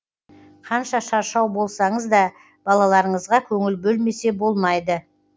қанша шаршау болсаңыз да балаларыңызға көңіл бөлмесе болмайды